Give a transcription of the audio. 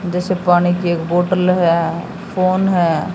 जैसे पानी की एक बॉटल है फोन है।